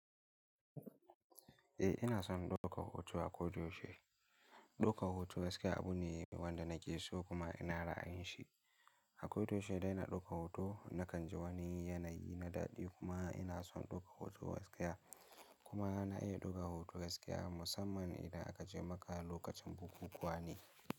Eh ina son ɗaukar hoto a ko da yaushe. Ɗaukar hoto gaskiya abu ne wanda nake so kuma ina rayin shi. A ko da yaushe dai na ɗauka hoto, na kan ji wani yanayi na daɗi kuma ina son ɗaukar hoto gaskiya kuma na iya ɗaukar hoto gaskiya musamman idan akace maka lokacin bukukuwa ne.